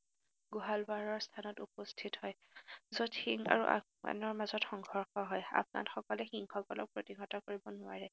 গুহালবাৰৰ স্থানত উপস্থিত হয়, যত সিং আৰু আফগানৰ মাজত সংঘৰ্ষ হয়, আফগানসকলে সিংসকলক প্ৰতিহত কৰিব নোৱাৰে।